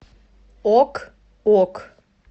ок ок